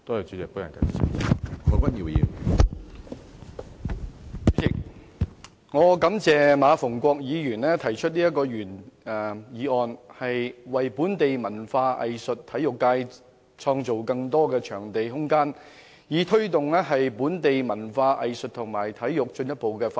主席，感謝馬逢國議員提出這項原議案，為本地文化藝術及體育界開拓更多場地、創造更多空間，以推動本地文化藝術及體育進一步的發展。